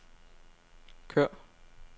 kør